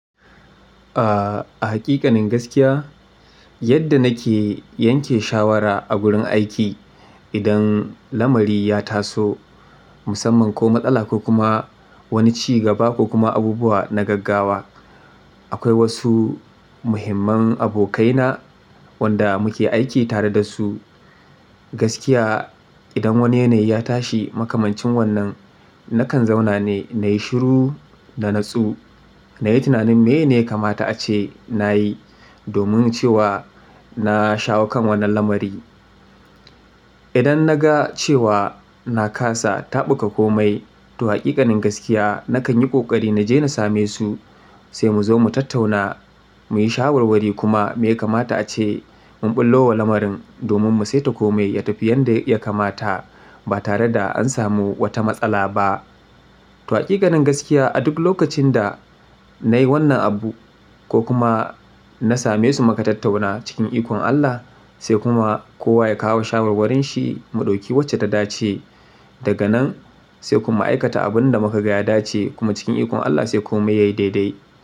A, a haƙiƙanin gaskiya, yadda nake yanke shawara a gurin aiki idan lamari ya taso musamman ko matsala ko kuma wani cigaba ko kuma abubuwa na gaggawa. Akwai wasu muhimman abokaina wanda muke aiki tare da su. Gaskiya idan wani yanayi ya tashi makamancin wannan nakan zauna ne nayi shiru na nutsu. Nayi tunanin meye ne yakamata ace nayi domin cewa na shawo kan wannan lamari. Idan na ga cewa na kasa taɓuka komai, to haƙiƙanin gaskiya nakan yi ƙoƙari na je na same su sai mu zo mu tattauna muyi shawarwari kuma me yakamata ace mun ɓullo wa lamarin domin mu sai ta kome ya tafi yadda ya kamata ba tare da an samu wata matsala ba. To haƙiƙanin gaskiya a duk lokacin da nayi wannan abu ko kuma na same su muka tattauna cikin ikon Allah sai kuma kowa ya kawo shawarwarin shi mu ɗauki wacce ta dace daga nan sai kuma aikata abunda mukaga ya dace kuma cikin ikon Allah sai komai yayi daidai.